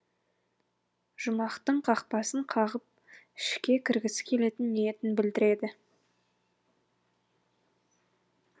жұмақтың қақпасын қағып ішке кіргісі келетін ниетін білдіреді